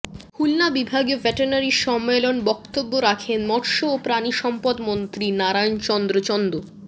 খুলনা বিভাগীয় ভেটেরিনারি সম্মেলনে বক্তব্য রাখেন মৎস্য ও প্রাণিসম্পদ মন্ত্রী নারায়ণ চন্দ্র চন্দ